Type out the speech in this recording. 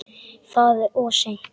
Það er of seint.